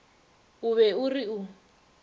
o be o re o